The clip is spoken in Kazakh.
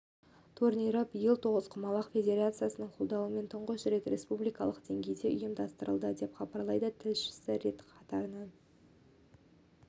турнирі биыл тоғызқұмалақ федерациясының қолдауымен тұңғыш рет республикалық деңгейде ұйымдастырылады деп хабарлайды тілшісі рет қатарынан